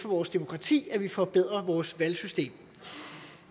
for vores demokrati at vi forbedrer vores valgsystem